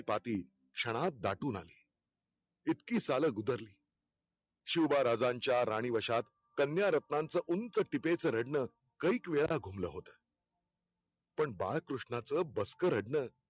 पापी क्षणात दाटून आली. इतकी सालं गुदरली शिवबा राजांच्या राणीवश्यात कन्या रत्नांच ऊंच टिपेच रडणं कैक वेळा घुमल होत. पण बालकृष्णाच बसक रडणं